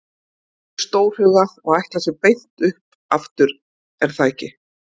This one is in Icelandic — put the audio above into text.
Víkingar eru stórhuga og ætla sér beint upp aftur er það ekki?